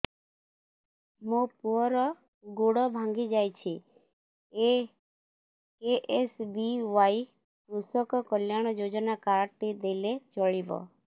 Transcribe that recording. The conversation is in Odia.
ମୋ ପୁଅର ଗୋଡ଼ ଭାଙ୍ଗି ଯାଇଛି ଏ କେ.ଏସ୍.ବି.ୱାଇ କୃଷକ କଲ୍ୟାଣ ଯୋଜନା କାର୍ଡ ଟି ଦେଲେ ଚଳିବ